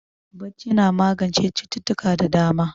Barci na magance cututtuka da dama